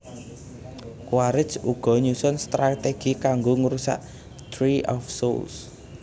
Quaricth uga nyusun stratégi kanggo ngrusak Tree of Souls